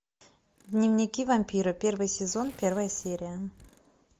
дневники вампира первый сезон первая серия